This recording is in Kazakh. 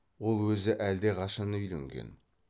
ол өзі әлдеқашан үйленген